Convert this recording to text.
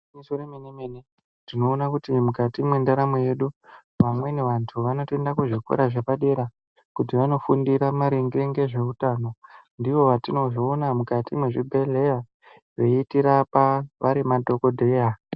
Igwinyiso remene mene tinoona kuti mukati mwendaramo yedu, vamweni vantu vanotoenda kuzvikora zvepadera kuti vanofundira maringe ngezveutano, ndivo vetinozoona mukati mwezvibhedhleya veiti rapa vari madhokodheya.